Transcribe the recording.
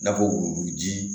N'a fɔ wuluwulu ji